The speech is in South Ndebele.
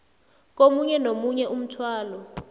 komunye nomunye umthwalo